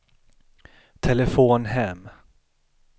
telefon hem